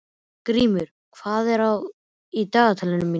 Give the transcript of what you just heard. Grímur, hvað er í dagatalinu mínu í dag?